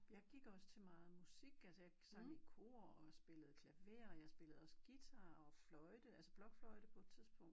Jeg gik også til meget musik altså jeg sang i kor og spillede klaver og jeg spillede også guitar og fløjte altså blokfløjte på et tidspunkt